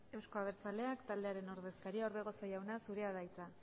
euzko abertzaleak taldearen ordezkaria orbegozo jauna zurea da hitza